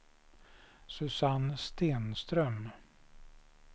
Susanne Stenström